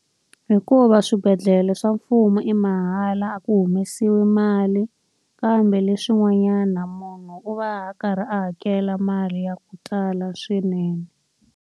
Hikuva swibedhlele swa mfumo i mahala a ku humesiwi mali, kambe leswin'wanyana munhu u va a karhi a hakela mali ya ku tala swinene.